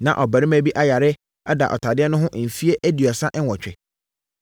Na ɔbarima bi ayare ada ɔtadeɛ no ho mfeɛ aduasa nwɔtwe.